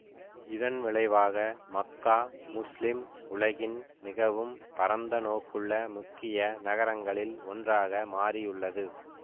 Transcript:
இதன் விளைவாக மக்கா முஸ்லிம் உலகின் மிகவும் பரந்த நோக்குள்ள முக்கிய நகரங்களில் ஒன்றாக மாறியுள்ளது